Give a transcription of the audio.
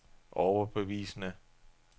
overbevisende